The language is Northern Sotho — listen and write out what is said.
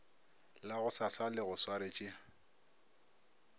la gosasa le go swaretše